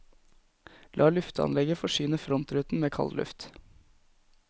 La lufteanlegget forsyne frontruten med kald luft.